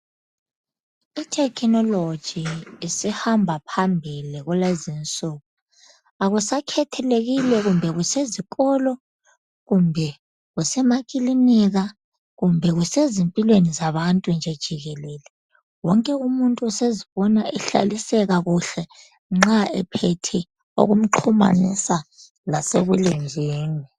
i technology isihamba phambili kulezinsuku akusakhethelekile kumbe kusezikolo kumbe kusemakilinika kumbe kusezimpilweni zabantu nje jikelele wonke umuntu usezibiona ehlaliseka kuhle nxa ephethe okumxhumanisa lasebulenjini